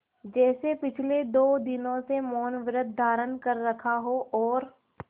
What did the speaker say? जैसे पिछले दो दिनों से मौनव्रत धारण कर रखा हो और